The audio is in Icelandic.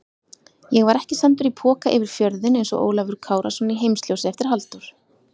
Ég var ekki sendur í poka yfir fjörðinn einsog Ólafur Kárason í Heimsljósi eftir Halldór